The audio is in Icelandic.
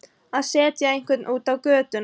Að setja einhvern út á götuna